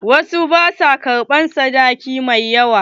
Wasu ba sua ƙarɓan sadaki mai yawa.